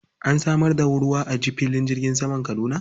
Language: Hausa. An samar da ruwa a filin jirgin saman Kaduna?